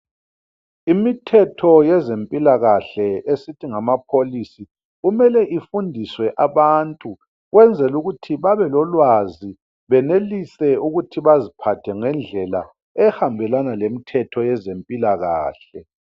Imthetho yezempilakahle esithi ngama policy kumele ifundiswe abantu ukwenzela ukuthi babelolwazi benelise ukuthi baziphathe ngendlela ehambelana lemthetho yezempilakahle.